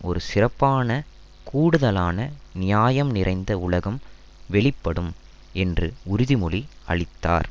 ஒரு சிறப்பான கூடுதலான நியாயம் நிறைந்த உலகம் வெளிப்படும் என்று உறுதிமொழி அளித்தார்